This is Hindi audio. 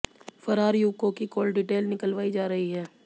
फरार युवकों की कॉल डिटेल निकालवाई जा रही है